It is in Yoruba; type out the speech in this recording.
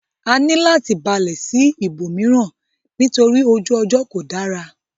A ní láti balẹ̀ sí ibòmíràn nítorí ojú ọjọ́ kò dára.